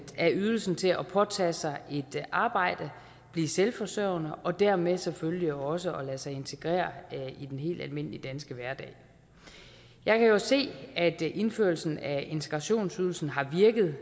af ydelsen til at påtage sig et arbejde blive selvforsørgende og dermed selvfølgelig også at lade sig integrere i den helt almindelige danske hverdag jeg kan jo se at indførelsen af integrationsydelsen har virket